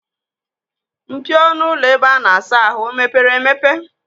Mpio ọnụ ụlọ ebe a na-asa ahụ o meepere emepe?